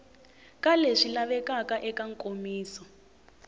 ka leswi lavekaka eka nkomiso